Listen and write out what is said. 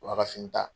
U b'a ka fini ta